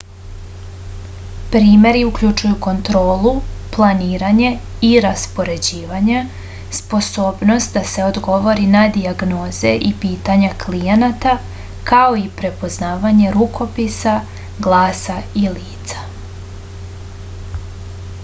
primeri uključuju kontrolu planiranje i raspoređivanje sposobnost da se odgovori na dijagnoze i pitanja klijenata kao i prepoznavanje rukopisa glasa i lica